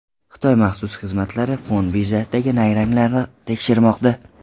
Xitoy maxsus xizmatlari fond birjasidagi nayranglarni tekshirmoqda.